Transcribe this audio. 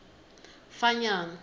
fanyana